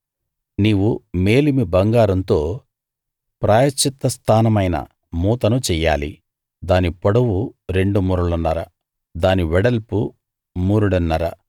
నీవు మేలిమి బంగారంతో ప్రాయశ్చిత్త స్థానమైన మూతను చెయ్యాలి దాని పొడవు రెండు మూరలున్నర దాని వెడల్పు మూరెడున్నర